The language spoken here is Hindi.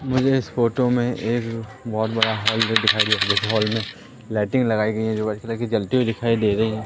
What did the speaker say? मुझे इस फोटो में एक बहुत बड़ा हॉल भी दिखाई दे रहा है इस हॉल में लाइटिंग लगाई गई है जो की जल्ती हुई दिखाई दे रही है।